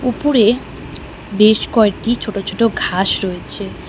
উপরে বেশ কয়টি ছোটো ছোটো ঘাস রয়েছে।